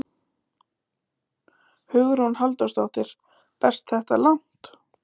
Hugrún Halldórsdóttir: Berst þetta langt?